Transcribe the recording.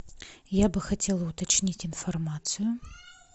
я бы хотела уточнить информацию